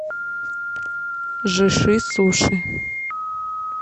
жиши суши